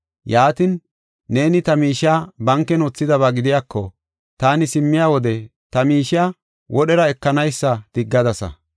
Yaatin, neeni ta miishiya banken wothidaba gidiyako, taani simmiya wode ta miishiya wodhera ekanaysa diggadasa.